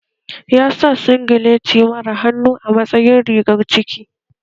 Ya sa singileti mara hannu a matsayin rigar ciki